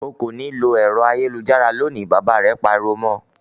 "O kò ní lo ẹ̀rọ ayélujára lónìí!" Bàbá rẹ̀ pariwo mọ.